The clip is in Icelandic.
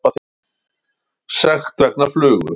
Sekt vegna flugu